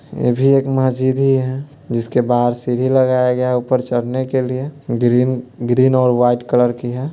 ये भी एक मस्जिद ही है जिसके बाहर सीढ़ी लगाया गया है ऊपर चढ़ने के लिए ग्रीन ग्रीन और वाइट कलर की है।